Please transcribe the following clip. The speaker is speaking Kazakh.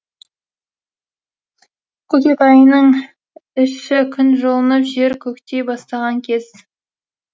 көкек айының іші күн жылынып жер көктей бастаған кез